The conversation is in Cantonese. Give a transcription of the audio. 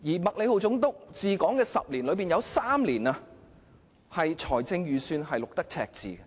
麥理浩總督治港10年，其中3年的財政預算均錄得赤字。